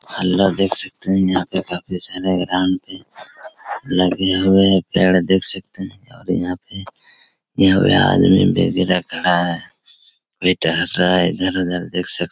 hello देख सकते हैं यहाँ पे काफ़ी सारे ग्राउंड पे लगे हुए हैं पेड़ देख सकते हैं और यहाँ पे यहाँ पे आदमी बेबी रखा हैं वे टहल रहा हैं इधर-उधर देख सक्--